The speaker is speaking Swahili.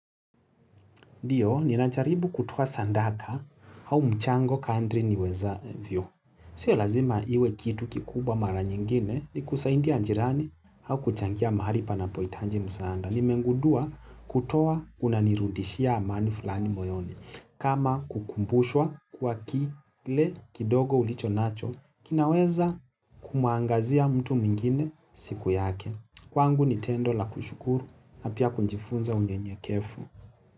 Ndiyo, ninajaribu kutoa sadaka au mchango kandri niweza vyo. Sio lazima iwe kitu kikubwa mara nyingine ni kusaidia ajirani au kuchangia mahali panapo hitaji msanda. Nimegundua kutoa kuna nirudishia amani fulani moyoni. Kama kukumbushwa kwa kile kidogo ulicho nacho, kinaweza kumaangazia mtu mingine siku yake. Kwa ngu ni tendo la kushukuru na pia kunjifunza unye nye kefu.